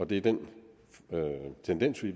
det er den tendens vi